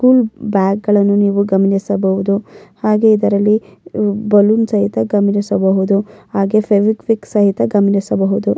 School bag ಗಳನು ನೀವು ಗಮನಿಸಬಹುದು ಹಾಗೆ ಇದರಲ್ಲಿ ಬಲೂನ್ ಸಹಿತ ಗಮನಿಸಬಹುದು ಹಾಗೆ ಫೆವಿ ಕ್ವಿಕ್ ಸಹಿತ ಗಮನಿಸಬಹುದು.